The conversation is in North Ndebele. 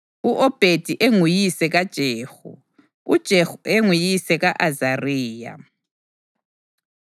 u-Obhedi enguyise kaJehu, uJehu enguyise ka-Azariya,